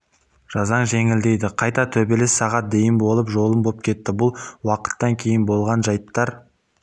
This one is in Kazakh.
жазаң жеңілдейді қайта төбелес сағат дейін болып жолым боп кетті бұл уақыттан кейін болған жайттар